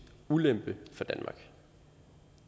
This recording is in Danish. ulempe for danmark